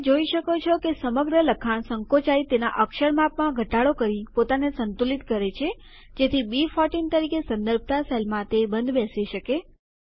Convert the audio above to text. તમે જોઈ શકો છો કે સમગ્ર લખાણ સંકોચાય તેના અક્ષર માપમાં ઘટાડો કરી પોતાને સંતુલિત કરે છે જેથી બી14 તરીકે સંદર્ભતા સેલમાં તે બંધ બેસી શકે